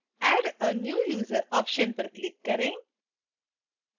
add a new user option पर click करें